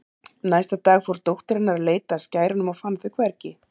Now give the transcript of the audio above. Næsta dag fór dóttir hennar að leita að skærunum og fann þau hvergi.